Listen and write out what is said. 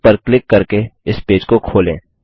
link पर click करके इस पेज को खोलें